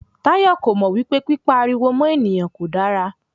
Táyọ̀ kò mò wípé pípa ariwo mọ́ ènìyàn kò dára.